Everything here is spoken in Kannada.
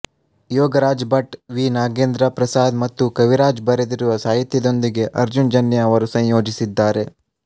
ಯೋಗರಾಜ್ ಭಟ್ ವಿ ನಾಗೇಂದ್ರ ಪ್ರಸಾದ್ ಮತ್ತು ಕವಿರಾಜ್ ಬರೆದಿರುವ ಸಾಹಿತ್ಯದೊಂದಿಗೆ ಅರ್ಜುನ್ ಜನ್ಯ ಅವರು ಸಂಯೋಜಿಸಿದ್ದಾರೆ